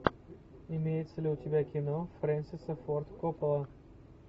имеется ли у тебя кино фрэнсиса форд коппола